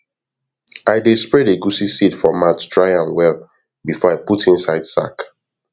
i dey spread egusi seed for mat dry am well before i put inside sack